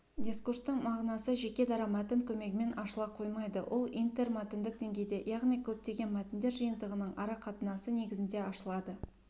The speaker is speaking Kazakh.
дискурстың мағынасы жеке дара мәтін көмегімен ашыла қоймайды ол интермәтіндік деңгейде яғни көптеген мәтіндер жиынтығының арақатынасы негізінде ашылады